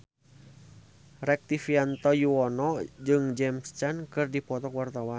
Rektivianto Yoewono jeung James Caan keur dipoto ku wartawan